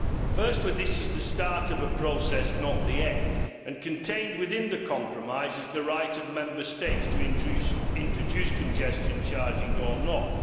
Firstly, this is the start of a process, not the end, and contained within the compromise is the right of Member States to introduce congestion charging or not.